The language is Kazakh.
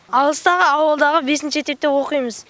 алыстағы ауылдағы бесінші мектепте оқимыз